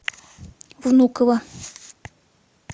внуково